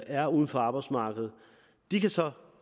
er uden for arbejdsmarkedet de kan så